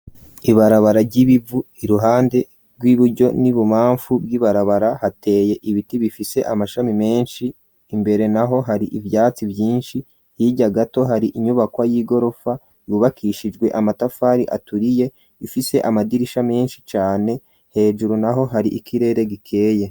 Ibarabara ry'ibivu, iruhande rw'iburyo n'ibubamfu bw'ibarabara hateye ibiti bifise amashami menshi, imbere naho hari ivyatsi vyinshi hirya gato hari inyubakwa y'igorofa yubakishijwe amatafari aturiye ifise amadirisha menshi cane, hejuru naho hari ikirere gikeye.